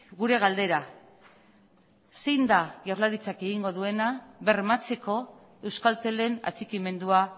gure galdera zein da jaurlaritzak egingo duena bermatzeko euskaltelen atxikimendua